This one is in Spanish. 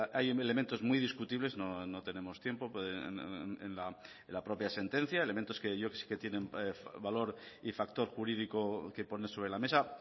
hay elementos muy discutibles no tenemos tiempo en la propia sentencia elementos que sí que tienen valor y factor jurídico que poner sobre la mesa